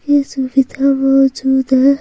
इस मे किताब मोजुद है।